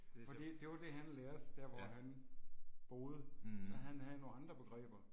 Fordi det var det han lærte der hvor han boede. Så han havde nogle andre begreber